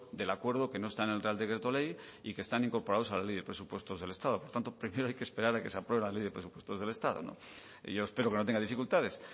del acuerdo que no están en el real decreto ley y que están incorporados a la ley de presupuestos del estado por lo tanto primero hay que esperar a que se apruebe la ley de presupuestos del estado y yo espero que no tenga dificultades